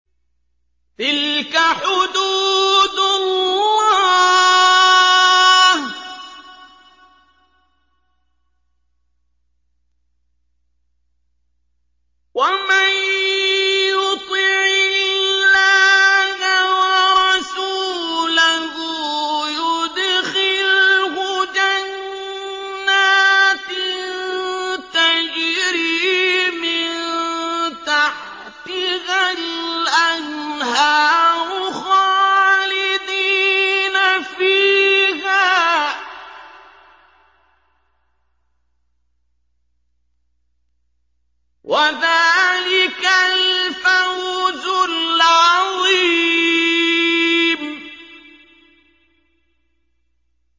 تِلْكَ حُدُودُ اللَّهِ ۚ وَمَن يُطِعِ اللَّهَ وَرَسُولَهُ يُدْخِلْهُ جَنَّاتٍ تَجْرِي مِن تَحْتِهَا الْأَنْهَارُ خَالِدِينَ فِيهَا ۚ وَذَٰلِكَ الْفَوْزُ الْعَظِيمُ